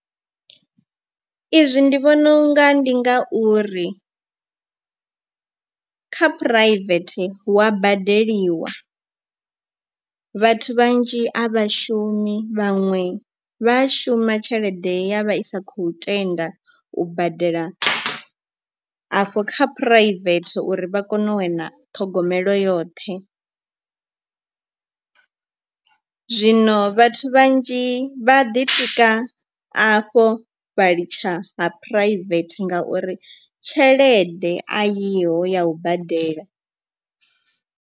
I zwi ndi vhona unga ndi ngauri kha private hu wa badeliwa. Vhathu vhanzhi a vhashumi vhaṅwe vha shuma tshelede ya vha isa khou tenda u badela afho kha phuraivethe uri vha kone u wana ṱhogomelo yoṱhe. Zwino vhathu vhanzhi vha ḓi tika afho vha litsha ha private ngauri tshelede a yiho ya u badela.